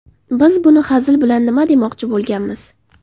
Biz bu hazil bilan nima demoqchi bo‘lganmiz.